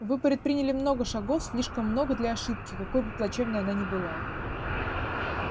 вы предприняли много шагов слишком много для ошибки какой бы плачевной она ни была